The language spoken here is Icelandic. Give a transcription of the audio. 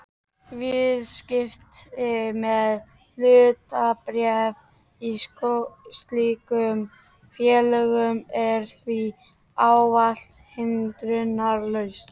Viðskipti með hlutabréf í slíkum félögum er því ávallt hindrunarlaus.